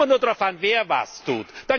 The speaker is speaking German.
Es kommt immer nur darauf an, wer was